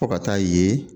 Fo ka taa ye